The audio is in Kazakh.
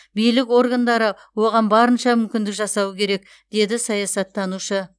билік органдары оған барынша мүмкіндік жасауы керек деді саясаттанушы